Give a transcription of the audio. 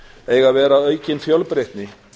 eiga að vera aukin fjölbreytni